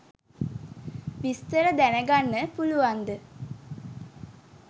විස්තර දැනගන්න පුලුවන්ද